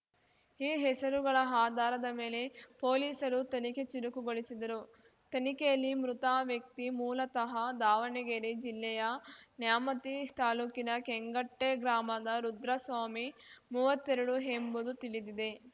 ಈ ಹೆಸರುಗಳ ಆಧಾರದ ಮೇಲೆ ಪೊಲೀಸರು ತನಿಖೆ ಚುರುಕುಗೊಳಿಸಿದರು ತನಿಖೆಯಲ್ಲಿ ಮೃತ ವ್ಯಕ್ತಿ ಮೂಲತಃ ದಾವಣಗೆರೆ ಜಿಲ್ಲೆಯ ನ್ಯಾಮತಿ ತಾಲೂಕಿನ ಕೆಂಗಟ್ಟೆಗ್ರಾಮದ ರುದ್ರಸ್ವಾಮಿ ಮುವತ್ತೆರಡು ಎಂಬುದು ತಿಳಿದಿದೆ